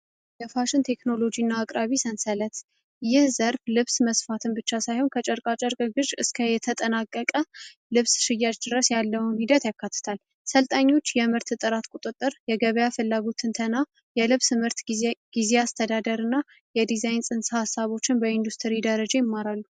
የፋሽን ቴክኖሎጂና አቅራቢ ሰንሰለት ይህ ዘርፍ ልብስ መስፋትን ብቻ ሳይሆን ከጨርቃ ጨርቅሽ እስከ የተጠናቀቀ ልብስ ሽያጭ ድረስ ያለው ሂደት ያካል ሰልጣኞች የምርት ጥራት ቁጥጥር የገበያ ፍላጎት ትንተና የልብ ትምህርት ጊዜ አስተዳደርና የዲዛይን ንስሃ ሃሳቦችን በኢንዱስትሪ ደረጀ ያሳያሉ